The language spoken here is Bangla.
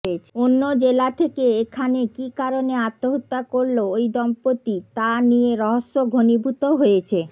অন্য জেলা থেকে এখানে কী কারণে আত্মহত্যা করল ওই দম্পতি তা নিয়ে রহস্য ঘনীভূত হয়েছে